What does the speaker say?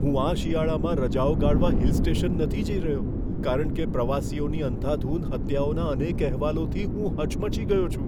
હું આ શિયાળામાં રજાઓ ગાળવા હીલ સ્ટેશન નથી જઈ રહ્યો, કારણ કે પ્રવાસીઓની અંધાધૂંધ હત્યાઓના અનેક અહેવાલોથી હું હચમચી ગયો છું.